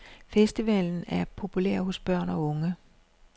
Festivalen er populær hos børn og unge.